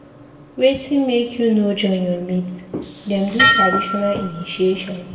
Wetin make you no join your mate dem do traditional initiation?